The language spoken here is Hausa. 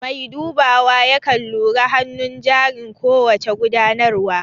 Mai dubawa yakan lura hanun jarin ko wace gudanarwa